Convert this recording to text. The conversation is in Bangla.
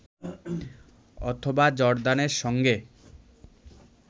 অথবা জর্ডানের সঙ্গে